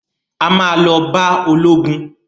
A ma lọ bá ológun